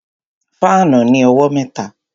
Fáànù ní owó mẹ́ta